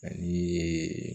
Ani